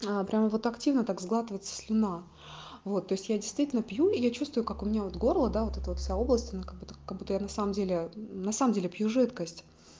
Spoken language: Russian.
прямо вот активно так сглатывается слюна вот то есть я действительно пью и я чувствую как у меня вот горло да вот это вот вся область она как будто как будто я на самом деле на самом деле пью жидкость